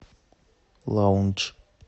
лаундж